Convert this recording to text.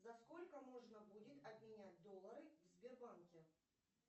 за сколько можно будет обменять доллары в сбербанке